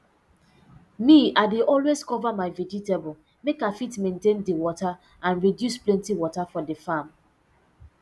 um i dey always cover my vegetable make i fit maintain di water and reduce plenty water for d farm